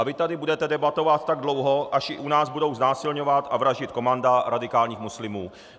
A vy tady budete debatovat tak dlouho, až i u nás budou znásilňovat a vraždit komanda radikálních muslimů.